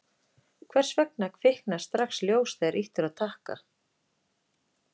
Hvers vegna kviknar strax ljós þegar ýtt er á takka?